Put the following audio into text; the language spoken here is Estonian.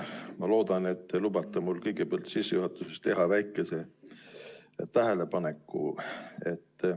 Ma loodan, et te lubate mul kõigepealt sissejuhatuseks teha väikese tähelepaneku.